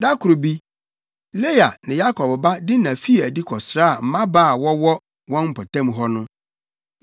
Da koro bi, Lea ne Yakob ba Dina fii adi kɔsraa mmabaa a wɔwɔ wɔn mpɔtam hɔ no.